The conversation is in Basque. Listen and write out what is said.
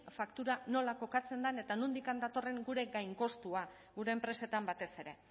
faktura nola kokatzen den eta nondik datorren gure gainkostua gure enpresetan batez ere